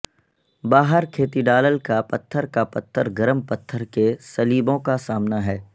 باہر کیتھیڈالل کا پتھر کا پتھر گرم پتھر کے سلیبوں کا سامنا ہے